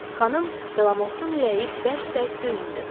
Xanım Delamotun ürəyi bərk-bərk döyündü.